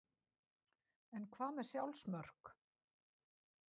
En hvað með sjálfsmörk?